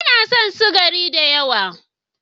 Ba na son sukari da yawa.